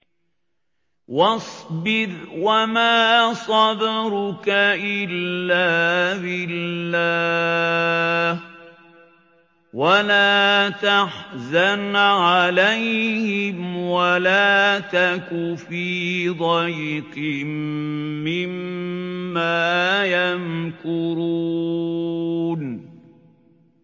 وَاصْبِرْ وَمَا صَبْرُكَ إِلَّا بِاللَّهِ ۚ وَلَا تَحْزَنْ عَلَيْهِمْ وَلَا تَكُ فِي ضَيْقٍ مِّمَّا يَمْكُرُونَ